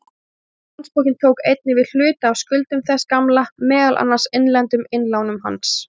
Nýi Landsbankinn tók einnig við hluta af skuldum þess gamla, meðal annars innlendum innlánum hans.